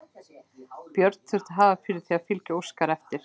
Björn þurfti að hafa fyrir því að fylgja Óskari eftir.